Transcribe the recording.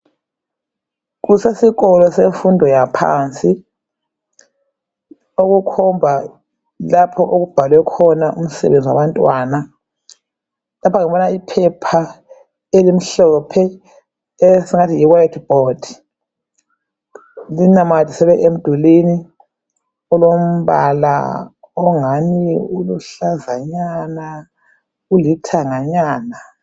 Kusesikolo semfundo yaphansi okukhomba lapho okubhalwe khona umsebenzi wabantwana. Lapha ngibona iphepha elimhlophe esingathi yiwhite board linamathiselwe emdulini olombala ongani uluhlazanyana ulithanganyana.